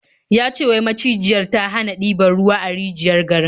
Ya ce wai macijiyar ta hana diban ruwa a rijiyar garin.